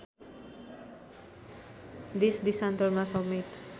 देशदेशान्तरमा समेत